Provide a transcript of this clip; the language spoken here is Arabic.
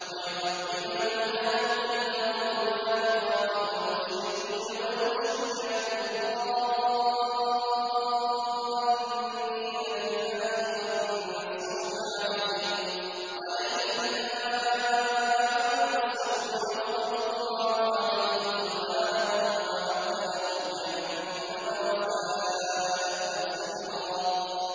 وَيُعَذِّبَ الْمُنَافِقِينَ وَالْمُنَافِقَاتِ وَالْمُشْرِكِينَ وَالْمُشْرِكَاتِ الظَّانِّينَ بِاللَّهِ ظَنَّ السَّوْءِ ۚ عَلَيْهِمْ دَائِرَةُ السَّوْءِ ۖ وَغَضِبَ اللَّهُ عَلَيْهِمْ وَلَعَنَهُمْ وَأَعَدَّ لَهُمْ جَهَنَّمَ ۖ وَسَاءَتْ مَصِيرًا